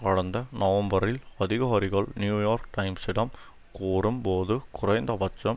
கடந்த நவம்பரில் அதிகாரிகள் நியூயோர்க் டைம்ஸிடம் கூறும் போது குறைந்தபட்சம்